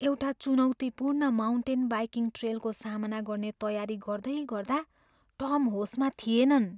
एउटा चुनौतिपूर्ण mountain biking ट्रेलको सामना गर्ने तयारी गर्दैगर्दा टम होसमा थिएनन्।